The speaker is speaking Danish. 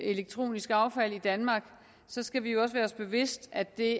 elektronisk affald i danmark skal vi også være os bevidst at det